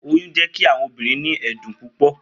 Oyun jẹ ki awọn obirin ni ẹdun pupọ